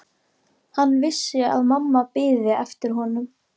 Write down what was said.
Hann vissi að mamma biði eftir honum.